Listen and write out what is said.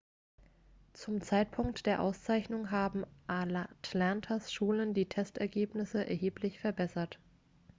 zum zeitpunkt der auszeichnung haben atlantas schulen die testergebnisse erheblich verbessert